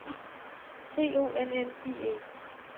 C O N N I E